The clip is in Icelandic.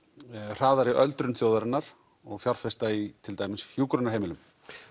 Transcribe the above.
hraðari öldrun þjóðarinnar og fjárfesta í til dæmis hjúkrunarheimilum